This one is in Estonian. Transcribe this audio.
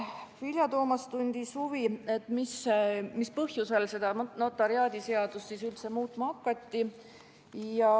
Vilja Toomast tundis huvi, mis põhjusel seda notariaadiseadust siis üldse muutma hakati.